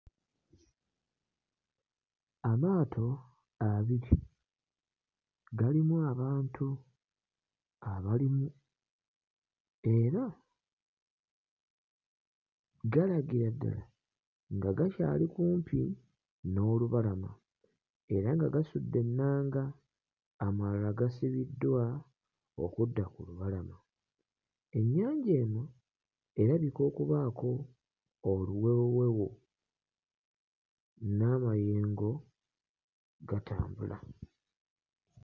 Amaato abiri galimu abantu abalimu era galagira ddala nga gakyali kumpi n'olubalama, era nga gasudde ennaga, amalala gasibiddwa okudda ku lubalama. Ennyanja eno erabika okubaako oluwewowewo n'amayengo gatambula.